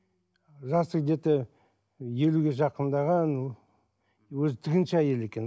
жасы где то елуге жақындаған өзі тігінші әйел екен